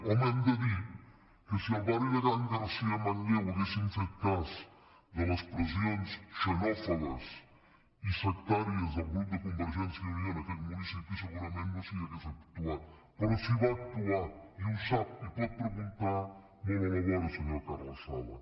home hem de dir que si al barri de can garcia a manlleu haguessin fet cas de les pressions xenòfobes i sectàries del grup de convergència i unió en aquell municipi segurament no s’hi hauria actuat però s’hi va actuar i ho sap i ho pot preguntar molt a la vora senyor carles sala